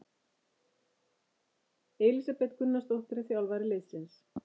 Elísabet Gunnarsdóttir er þjálfari liðsins.